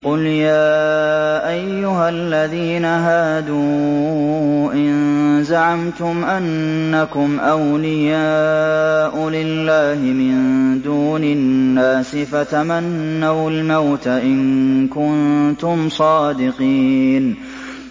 قُلْ يَا أَيُّهَا الَّذِينَ هَادُوا إِن زَعَمْتُمْ أَنَّكُمْ أَوْلِيَاءُ لِلَّهِ مِن دُونِ النَّاسِ فَتَمَنَّوُا الْمَوْتَ إِن كُنتُمْ صَادِقِينَ